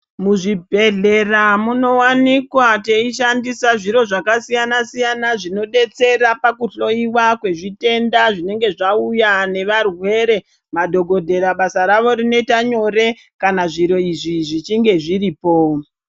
Muzvibhedhlera munowanikwa teyi shandisa zviro zvakasiyana-siyana, zvinodetsera pakuhloyiwa kwezvitenda zvinenge zvauya nevarwere, madhokodhera basa ravo rinoyita nyore kana zviro izvi zvichinge zviripo.